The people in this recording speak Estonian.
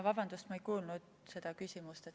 Vabandust, ma ei kuulnud seda küsimust.